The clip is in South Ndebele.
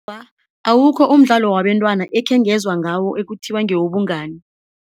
Awa, awukho umdlalo wabentwana ekhengezwa ngawo ekuthiwa ngewobungani.